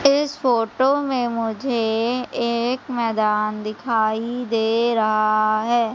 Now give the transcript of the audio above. इस फोटो में मुझे एक मैदान दिखाई दे रहा है।